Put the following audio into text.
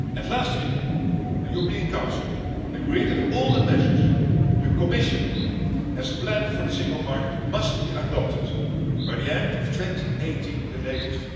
Last week, the European Council agreed that all the measures the Commission has planned for the single market must be adopted by the end of 2018 at the latest.